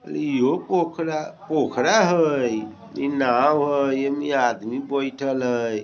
इहो पोखरा पोखड़ा हय इ नाव हय ए में आदमी बैठल हय।